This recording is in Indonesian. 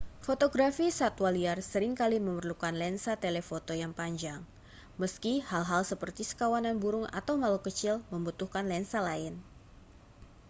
fotografi satwa liar sering kali memerlukan lensa telefoto yang panjang meski hal-hal seperti sekawanan burung atau makhluk kecil membutuhkan lensa lain